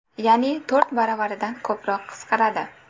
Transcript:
Ya’ni to‘rt baravardan ko‘proq qisqaradi.